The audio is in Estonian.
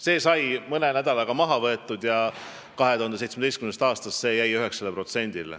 See sai mõne nädalaga maha võetud ja 2017. aastast on see käibemaks edasi 9%.